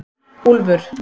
Úlfur